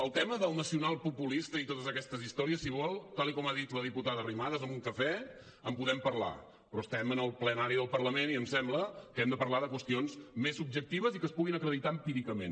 el tema del nacionalpopulista i totes aquestes històries si vol tal com ha dit la diputada arrimadas amb un cafè en podem parlar però estem en el plenari del parlament i em sembla que hem de parlar de qüestions més objectives i que es puguin acreditar empíricament